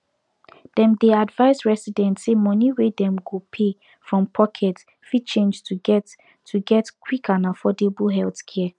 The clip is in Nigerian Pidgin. dem dey advise residents say money wey dem go pay from pocket fit change to get to get quick and affordable healthcare